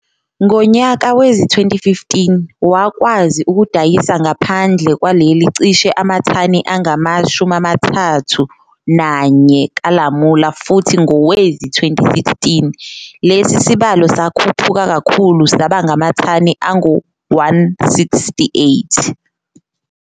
Ngonyaka wezi-2015, wakwazi ukudayisa ngaphandle lwaleli cishe amathani angama-31 kalamula futhi ngowezi-2016, lesi sibalo sakhuphuka kakhulu sabangamathani angu-168.